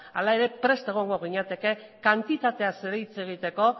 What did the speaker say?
hala ere prest egongo ginateke kantitateaz ere hitz egiteko